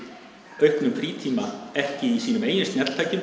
auknum frítíma ekki í sínum eigin